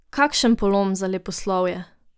Kakšen polom za leposlovje!